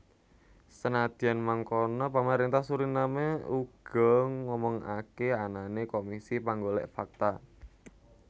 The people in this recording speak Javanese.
Senadyan mangkono pamaréntah Suriname uga ngomongaké anané komisi panggolèk fakta